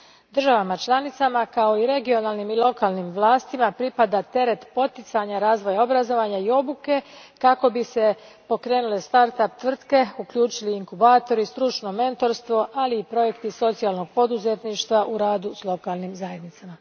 Državama članicama kao i regionalnim i lokalnim vlastima pripada teret poticanja razvoja obrazovanja i obuke kako bi se pokrenule start up tvrtke, uključili inkubatori i stručno mentorstvo, ali i projekti socijalnog poduzetništva u radu s lokalnim zajednicama.